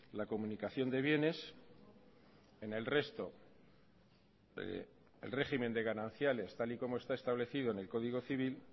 la comunicación de bienes en el resto el régimen de gananciales tal y como está establecido en el código civil